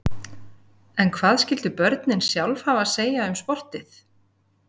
En hvað skyldu börnin sjálf hafa að segja um sportið?